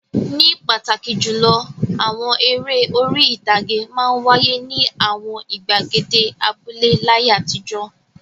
Ní pàtàkì jùlọ, àwọn eré orí-ìtàgé máa ń wáyé ní àwọn ìgbàgede abúlé láyé àtijọ́.